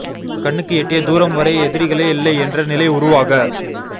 கண்ணுக்கு எட்டிய தூரம் வரை எதிரிகளே இல்லை என்ற நிலை உருவாக